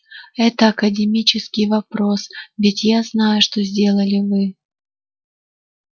это академический вопрос ведь я знаю что сделали вы